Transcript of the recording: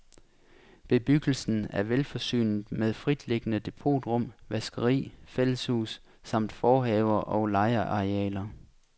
Bebyggelsen er velforsynet med fritliggende depotrum, vaskeri, fælleshus, samt forhaver og legearealer.